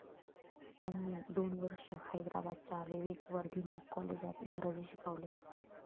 त्यांनी दोन वर्ष हैद्राबादच्या विवेकवर्धिनी कॉलेजात इंग्रजी शिकवले.